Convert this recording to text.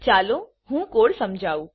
ચાલો હું કોડ સમજાવુ